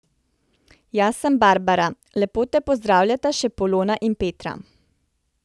Jaz sem Barbara, lepo te pozdravljata še Polona in Petra.